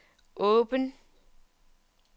åben